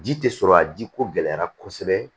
Ji tɛ sɔrɔ a jiko gɛlɛyara kosɛbɛ